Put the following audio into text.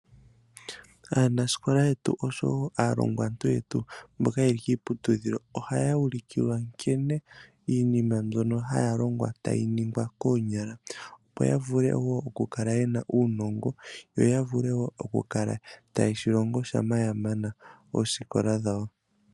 Aanasikola wo aalongwantu yetu mboka yeli kiiputudhilo ohaya ulikilwa nkene iinima mbyono haya longwa koonyala. Opo ya vule wo oku kala yena uunongo yo ya vule oku kala tayeshi longo uuna ya mana oosikola dhawo.